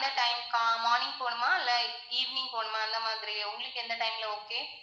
எந்த time morning போகணுமா? இல்ல evening போணுமா? அந்த மாதிரி உங்களுக்கு எந்த time ல okay.